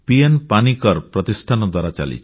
Panicker foundation ପ୍ରତିଷ୍ଠାନ ଦ୍ୱାରା ଚାଲିଛି